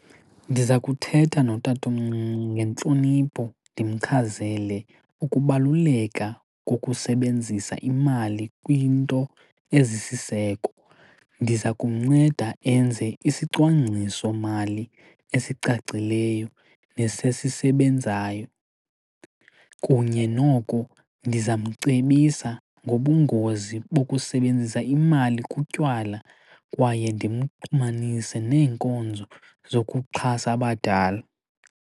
Ndiza kuthetha notatomncinci ngentlonipho ndimchazele ukubaluleka kokusebenzisa imali kwinto ezisiseko. Ndiza kumnceda enze isicwangciso mali esicacileyo nesesisebenzayo. Kunye noko ndizawumcebisa ngobungozi bokusebenzisa imali kutywala kwaye ndimxhumanise neenkonzo zokuxhasa abadala.